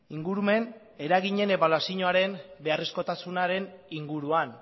ingurumen eraginen ebaluazioaren beharrezkotasunaren inguruan